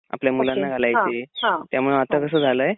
आपल्या मुलांना घालायचे त्यामुळे आता कस झालंय